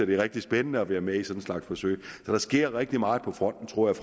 det er rigtig spændende at være med i sådan en slags forsøg så der sker rigtig meget på fronten tror jeg